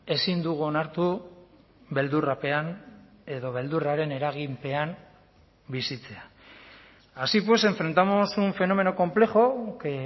ezin dugu onartu beldurrapean edo beldurraren eraginpean bizitzea así pues enfrentamos un fenómeno complejo que